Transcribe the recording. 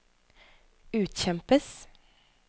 utkjempes